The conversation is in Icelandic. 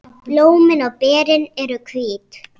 Blómin og berin eru hvít.